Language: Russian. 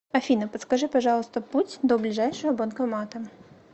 афина подскажи пожалуйста путь до ближайшего банкомата